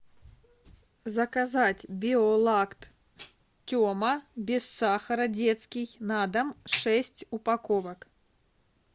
заказать биолакт тема без сахара детский на дом шесть упаковок